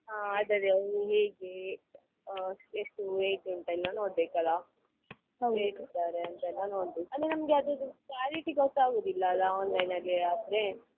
ಹಾ ಅದೇ ಅದೇ ಅದು ಹೇಗೆ ಎಷ್ಟು rate ಉಂಟು ಎಲ್ಲ ನೋಡ್ಬೇಕು ಅಲ್ಲ ನೋಡ್ಬೇಕು ಅಂದ್ರೆ ನಮ್ಗೆ ಅದ್ರುದು quality ಗೊತ್ತಾಗುದಿಲ್ಲ ಅಲ್ಲ online ಅಲ್ಲೇ ಆದ್ರೆ.